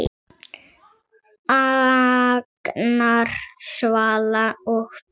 Agnar, Svala og börn.